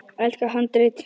Elsta handrit